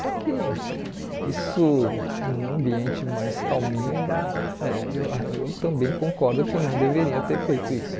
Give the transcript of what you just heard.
Só que isso num ambiente mais calminho, é eu ah eu também concordo que não deveria ter feito isso.